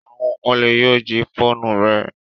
Awon ole yoo ji foonu re